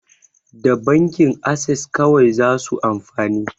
Da bankin ases kawai zasu amfani